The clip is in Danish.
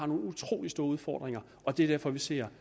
nogle utrolig store udfordringer og det er derfor vi ser